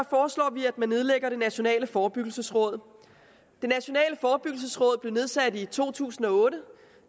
foreslår vi at man nedlægger det nationale forebyggelsesråd det nationale forebyggelsesråd blev nedsat i to tusind og otte